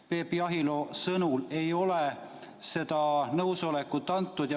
Peep Jahilo sõnul ei ole seda nõusolekut antud.